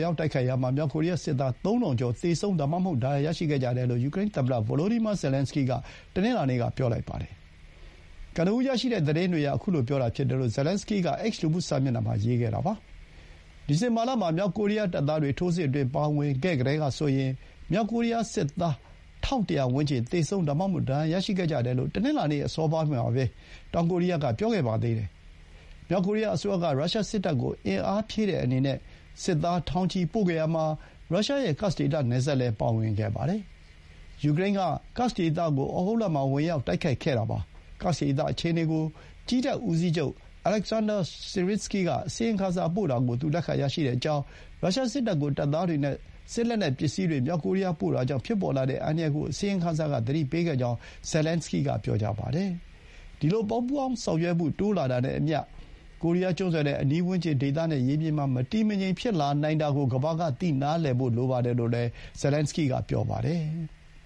ရောက် တိုက်ခိုက်ရာမှာ မြောက်ကိုရီးယား စစ်သား ၃၀၀၀ ကျော် သေဆုံး ဒါမှမဟုတ် ဒဏ်ရာ ရရှိခဲ့ကြတယ်လို့ ယူကရိန်း သမ္မတ ဗိုလိုဒီမာ ဇယ်လန်စကီးက တနင်္လာနေ့က ပြောပါတယ်။ ကနဦး ရရှိတဲ့ သတင်းတွေအရ အခုလို ပြောတာ ဖြစ်တယ်လို့ ဇယ်လန်စကီး က X လူမှု စာမျက်နှာမှာ ရေးခဲ့တာပါ။ ဒီဇင်ဘာလ မှာ မြောက်ကိုရီးယား တပ်သားတွေ ထိုးစစ်အတွင်း ပါဝင်ခဲ့ကတည်းကဆိုရင် မြောက်ကိုရီးယား စစ်သား ၁၁၀၀ ဝန်းကျင် သေဆုံး ဒါမှမဟုတ် ဒဏ်ရာရရှိခဲ့ကြတယ်လို့ တနင်္လာနေ့ အစောပိုင်းမှာ တောင်ကိုရီးယား က ပြောခဲ့ပါတယ်။ မြောက်ကိုရီးယား အစိုးရ က ရုရှားစစ်တပ်ကို အင်အားဖြည့်တဲ့အနေနဲ့ စစ်သား ထောင်ချီပို့ခဲ့ရာမှာ ရုရှားရဲ့ Kursk ဒေသ နယ်စပ်လည်း ပါဝင်ခဲ့ပါတယ်။ ယူကရိန်းက ကာက်စ်ဒေသကို ဩဂုတ်လမှာ ဝင်ရောက် တိုက်ခိုက်ခဲ့တာပါ။ ကာ့က်စ်ဒေသ အခြေအနေ ကို ကြည်းတပ် ဦးစီးချုပ် Oleksandr Syrsky က အစီရင်ခံစာ ပို့တာကို သူ လက်ခံရရှိကြောင်း၊ ရုရှား စစ်တပ်ကို တပ်သားတွေ နဲ့ စစ်လက်နက်ပစ္စည်းတွေ မြောက်ကိုရီးယား ပို့တာကြောင့် ဖြစ်ပေါ်လာတဲ့ အန္တရာယ်ကို အစီရင်ခံစာ က သတိပေးခဲ့ကြောင်း ဇယ်လန်စကီးက ပြောပါတယ်။ ဒီလို ပူးပေါင်းဆောင်ရွက်မှု တိုးလာတာနဲ့အမျှ ကိုရီးယား ကျွန်းဆွယ်နဲ့ အနီးဝန်းကျင် ဒေသနဲ့ ရေပြင်မှာ မတည်မငြိမ် ဖြစ်နိုင်တာကို ကမ္ဘာက နားလည်ဖို့ လိုပါတယ်လို့လည်း သူက ပြောပါတယ်။